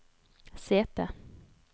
sete